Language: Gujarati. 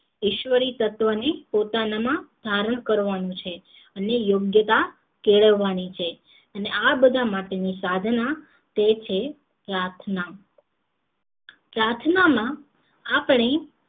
ઈશ્વરી તત્વ ને પોતાના માં ધારણ કરવાનું છે અને યોગ્યતા કેળવાની છે અને આ બધા માટે ની સાધના તે છે પ્રાર્થના પ્રાર્થના માં આપણી